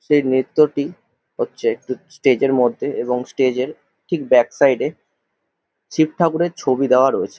সেই নৃত্যটি হচ্ছে একটি স্টেজ -এর মধ্যে এবং স্টেজ -এর ঠিক ব্যাক সাইড -এ শিব ঠাকুরের ছবি দেওয়া রয়েছে ।